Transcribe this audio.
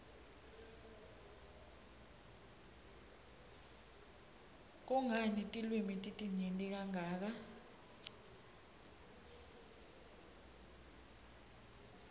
kungani tilwimi titinyenti kangaka